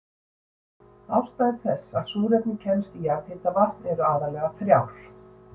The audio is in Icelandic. Ástæður þess að súrefni kemst í jarðhitavatn eru aðallega þrjár.